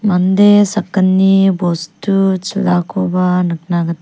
mande sakgni bostu chilakoba nikna git--